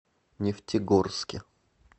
нефтегорске